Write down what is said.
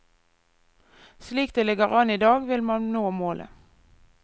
Slik det ligger an i dag vil man nå målet.